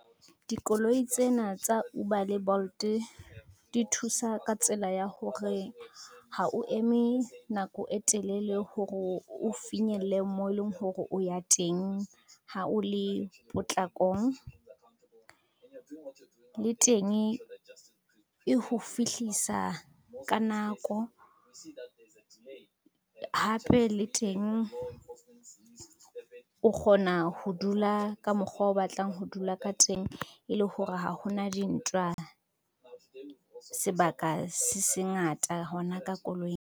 Dikoloi tsena tsa Uber le Bolt di thusa ka tsela ya hore ha o eme nako e telele hore o finyelle mo e leng hore o ya teng ha o le potlakong. Le teng e ho fihlisa ka nako, hape le teng o kgona ho dula ka mokgwa o batlang ho dula ka teng, e le hore ha ho na dintwa sebaka se se ngata hona ka koloing.